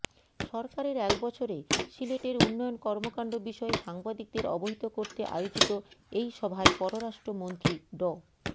সরকারের এক বছরে সিলেটের উন্নয়ন কর্মকাণ্ড বিষয়ে সাংবাদিকদের অবহিত করতে আয়োজিত এই সভায় পররাষ্ট্রমন্ত্রী ড